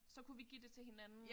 Så kunne vi give det til hinanden